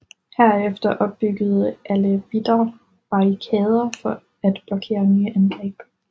Herefter opbyggede alevitter barrikader for at blokere nye angreb